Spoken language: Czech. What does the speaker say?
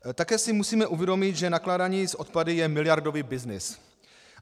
Také si musíme uvědomit, že nakládání s odpady je miliardový byznys.